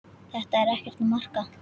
Þetta er ekkert að marka.